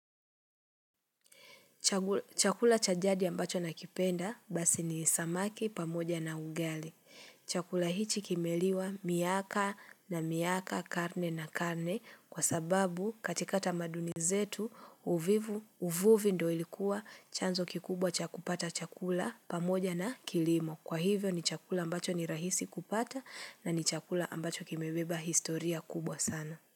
Chakula cha jadi ambacho nakipenda basi ni samaki pamoja na ugali. Chakula hichi kimeliwa miaka na miaka, karne na karne, kwa sababu katika tamaduni zetu uvivu uvuvi ndo ilikuwa chanzo kikubwa cha kupata chakula pamoja na kilimo. Kwa hivyo ni chakula ambacho ni rahisi kupata na ni chakula ambacho kimeweba historia kubwa sana.